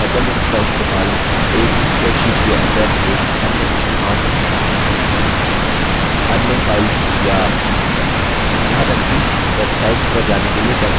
आप hyperlinks का इस्तेमाल एक spreadsheet के अंदर एक अन्य स्थान अन्य files यायहाँ तक कि वेबसाइट्स पर जाने के लिए कर सकते हैं